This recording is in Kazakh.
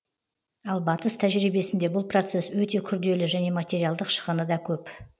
ал батыс тәжірибесінде бұл процесс өте күрделі және материалдық шығыны да көп